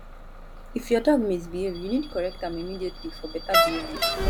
if your dog misbehave you need correct am immediately for better behavior